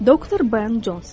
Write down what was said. Doktor Ben Conson.